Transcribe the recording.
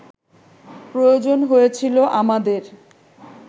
প্রয়োজন হয়েছিল আমাদের